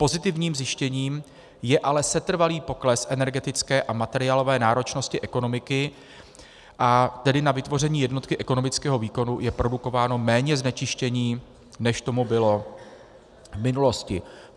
Pozitivním zjištěním je ale setrvalý pokles energetické a materiálové náročnosti ekonomiky, a tedy na vytvoření jednotky ekonomického výkonu je produkováno méně znečištění, než tomu bylo v minulosti.